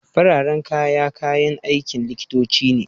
Fararen kaya, kayan aikin likitoci ne.